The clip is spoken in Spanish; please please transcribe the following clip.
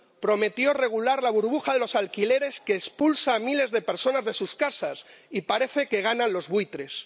Prometió regular la burbuja de los alquileres que expulsan a miles de personas de sus casas y parece que ganan los buitres.